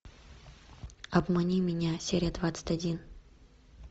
обмани меня серия двадцать один